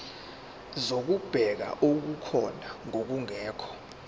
zokubheka okukhona nokungekho